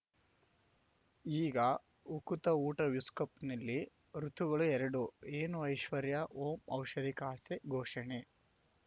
ಈಗ ಉಕುತ ಊಟ ವಿಶ್ ಕಪ್‌ನಲ್ಲಿ ಋತುಗಳು ಎರಡು ಏನು ಐಶ್ವರ್ಯಾ ಓಂ ಔಷಧಿ ಖಾತೆ ಘೋಷಣೆ